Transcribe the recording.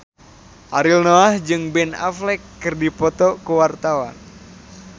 Ariel Noah jeung Ben Affleck keur dipoto ku wartawan